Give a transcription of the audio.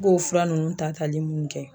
I b'o fura nunnu ta tali munnu kɛ